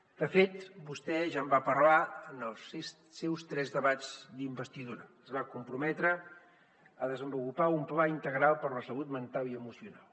de fet vostè ja en va parlar en els seus tres debats d’investidura es va comprometre a desenvolupar un pla integral per la salut mental i emocional